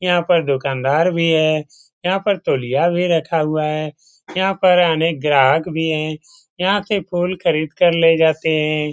यहाँ पर दुकानदार भी है यहाँ पर तौलिया भी रखा हुआ है यहाँ पर अनेक ग्राहक भी हैं यहाँ से फूल खरीदकर ले जाते हैं।